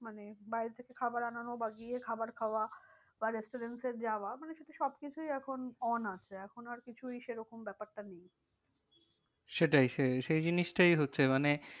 মানে বাইরে থেকে খাবার আনানো বা গিয়ে খাবার খাওয়া বা restaurants এ যাওয়া মানে সে তো সব কিছুই এখন on আছে। এখন আর কিছুই সে রকম ব্যাপারটা নেই সেটাই সে সেই জিনিসটাই হচ্ছে মানে